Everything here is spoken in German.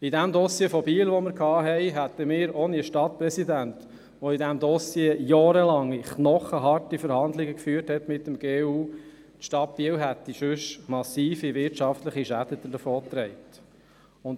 Beim vorhin erwähnten Dossier in Biel hätte die Stadt Biel ohne einen Stadtpräsidenten, welcher jahrelange knochenharte Verhandlungen mit dem GU führte, massive wirtschaftliche Schäden davon getragen.